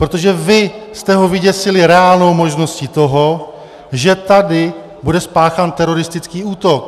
Protože vy jste ho vyděsili reálnou možností toho, že tady bude spáchán teroristický útok.